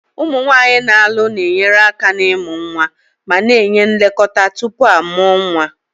Ụmụ nwanyị na-alụ na-enyere aka n'ịmụ nwa ma na-enye nlekọta tupu a mụọ nwa.